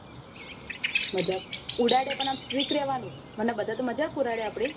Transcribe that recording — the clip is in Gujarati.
મજાક ઉડાવે પણ આપડે strick રેવાનું નક તો બધા તો મજાક ઉડાવે આપડી